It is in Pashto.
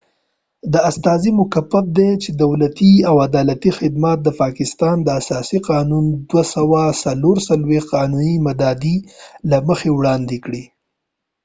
دا استازی مکف دي چې دولتي او عدلی خدمات د پاکستان د اساسی قانون 247 قانونی مادي له مخې وړاندي کړي